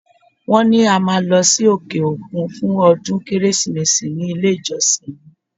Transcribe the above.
Wọ́n ní a máa lọ sí òkè-òkun fún ọdún Kérésìmesì ní ilé-ìjọsìn mi.